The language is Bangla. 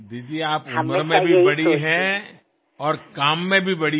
দিদি আপনি বয়সেও বড় এবং নিজের কাজের মধ্য দিয়েও বড়